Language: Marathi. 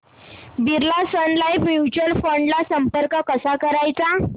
Birla Sun Life mutual fund ला संपर्क कसा करायचा